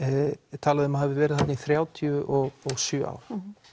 er talað um að hafi verið þarna í þrjátíu og sjö ár